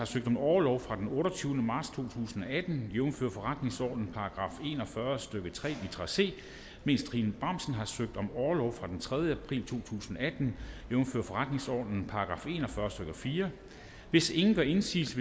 søgt om orlov fra den otteogtyvende marts to tusind og atten jævnfør forretningsordenens § en og fyrre stykke tre litra c mens trine bramsen har søgt om orlov fra den tredje april to tusind og atten jævnfør forretningsordenens § en og fyrre stykke fjerde hvis ingen gør indsigelse